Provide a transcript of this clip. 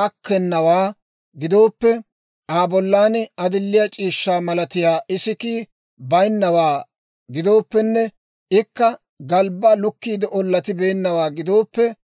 aakkennawaa gidooppe, Aa bollan adilliyaa c'iishshaa malatiyaa isikkii baynnawaa gidooppenne, ikka galbbaa lukkiide ollatibeennawaa gidooppe,